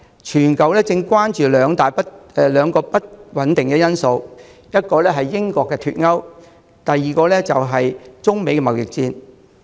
全球正關注兩個不穩定因素，第一，是英國脫歐，第二，是中美貿易戰。